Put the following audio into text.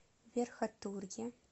верхотурье